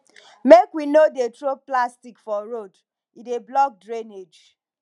make we no dey throw plastic for road e dey block drainage